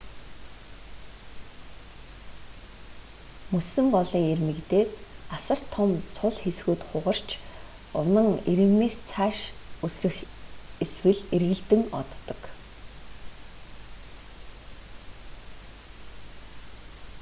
мөсөн голын ирмэг дээр асар том цул хэсгүүд хугарч унан ирмэгээс цааш үсрэх эсвэл эргэлдэн оддог